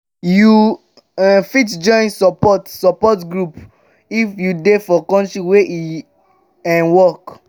you um fit join support support groups if you dey for country where e dey um work